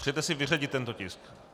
Přejete si vyřadit tento tisk?